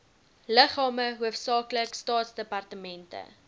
liggame hoofsaaklik staatsdepartemente